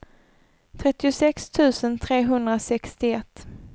trettiosex tusen trehundrasextioett